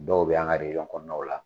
Dɔw bɛ an ka rejɔn kɔnɔnaw la.